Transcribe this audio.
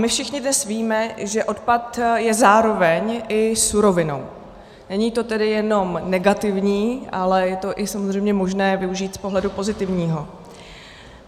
My všichni dnes víme, že odpad je zároveň i surovinou, není to tedy jenom negativní, ale je to samozřejmě možné využít i z pohledu pozitivního.